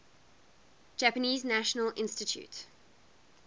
japanese national institute